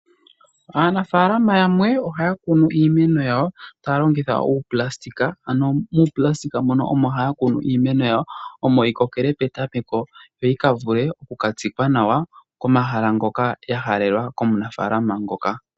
Aanafaalama yamwe ohaya kunu iimeno yawo taya longitha uunayilona. Muunayilona mono haya kunu iimeno yawo omo yikokele petameko ,yo yika vule yikatsikwe pomahala ngoka yahalelwa komunafalama ngoka.